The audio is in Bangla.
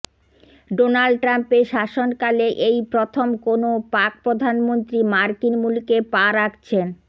ডোনাল্ড ট্রাম্পের শাসনকালে এই প্রথম কোনও পাক প্রধানমন্ত্রী মার্কিন মুলুকে পা রাখছেন